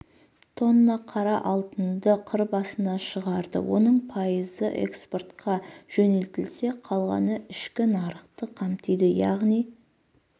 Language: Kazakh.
тонна қара алтынды қыр басына шығарды оның пайызы экспортқа жөнелтілсе қалғаны ішкі нарықты қамтиды яғни